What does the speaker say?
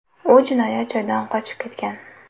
U jinoyat joyidan qochib ketgan.